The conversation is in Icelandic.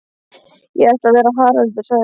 Ég ætla að vera Haraldur sagði